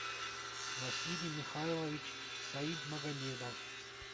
василий михайлович саидмагомедов